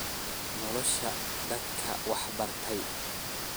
Nolosha dadka waxba bartay.